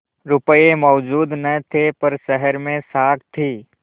रुपये मौजूद न थे पर शहर में साख थी